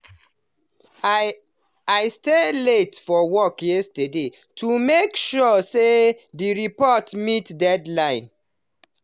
i stay late for work yesterday to make sure say the report meet deadline.